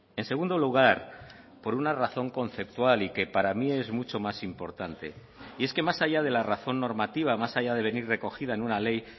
en segundo lugar por una razón conceptual y que para mí es mucho más importante y es que más allá de la razón normativa más allá de venir recogida en una ley